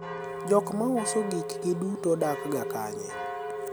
jok mauso gik gi duto dak ga kanye?